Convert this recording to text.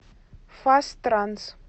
фастранс